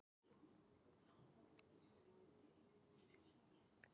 Á leiðinni heim sá hann öðru hverju glitta í þá úti á vatninu.